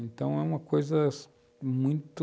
Então, é uma coisa muito...